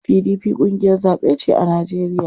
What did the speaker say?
PDP ƙungiyar zaɓe ce a Najeriya.